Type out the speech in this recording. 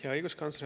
Hea õiguskantsler!